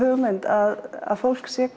hugmynd að fólk sé